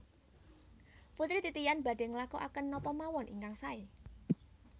Putri Titian badhe nglakuaken napa mawon ingkang sae